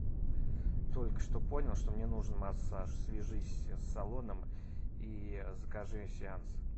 только что понял что мне нужен массаж свяжись с салоном и закажи сеанс